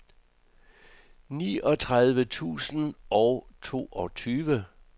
niogtredive tusind og toogtyve